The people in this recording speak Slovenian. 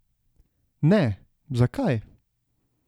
Ne, zakaj?